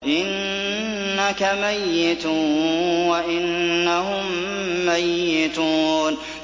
إِنَّكَ مَيِّتٌ وَإِنَّهُم مَّيِّتُونَ